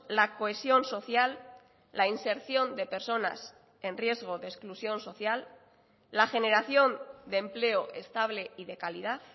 la cohesión social la inserción de personas en riesgo de exclusión social la generación de empleo estable y de calidad